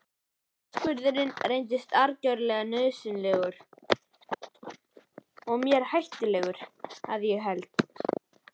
Uppskurðurinn reyndist algerlega nauðsynlegur og mér hættulegur að ég held.